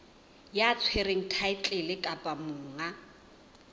ya tshwereng thaetlele kapa monga